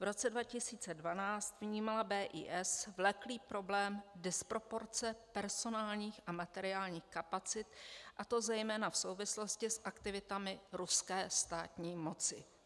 V roce 2012 vnímala BIS vleklý problém disproporce personálních a materiálních kapacit, a to zejména v souvislosti s aktivitami ruské státní moci.